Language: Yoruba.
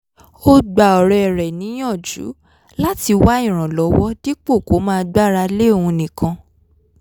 ó gba ọ̀rẹ́ rẹ̀ níyànjú láti wá ìrànlọ́wọ́ dípò kó máa gbára lé òun nìkan